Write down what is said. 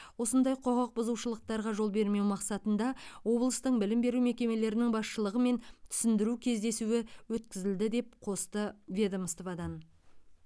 осындай құқық бұзушылықтарға жол бермеу мақсатында облыстың білім беру мекемелерінің басшылығымен түсіндіру кездесуі өткізілді деп қосты ведомстводан